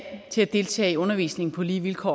til at deltage i undervisningen på lige vilkår